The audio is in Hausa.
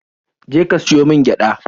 Je ka siyo min gyada!